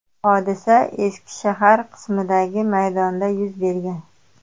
Hodisa eski shahar qismidagi maydonda yuz bergan.